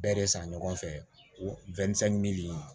Bɛɛ de san ɲɔgɔn fɛ wa